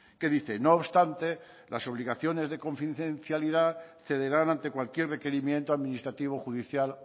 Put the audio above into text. que dice no obstante las obligaciones de confidencialidad cederán ante cualquier requerimiento administrativo o judicial